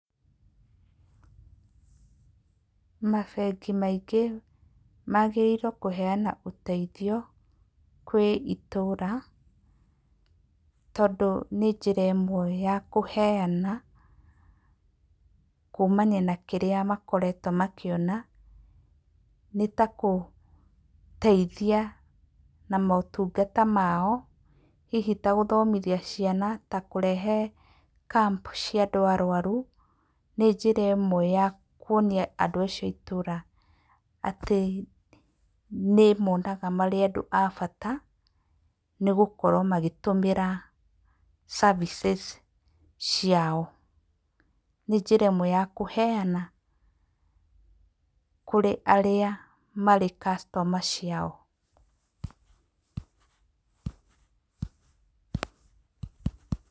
Mabengi maingĩ magĩrĩirwo kũheyana ũteithio kwĩ itũra, tondũ nĩ njĩra ĩmwe ya kũheyana, kuumana na kĩrĩa makoretwo makĩona, nĩ takũgũteithia na motungata mao, hihi tagũthomithia ciana, ta kũrehe camp cia andũ arwaru, nĩ njĩra ĩmwe ya kuonia andũ acio a itũũra atĩ, nĩ ĩmoonaga marĩ andũ a bata, nĩgũkorwo magĩtũmĩra services ciao. Nĩ njĩra ĩmwe ya kũheyana kũrĩ arĩa marĩ customer ciao.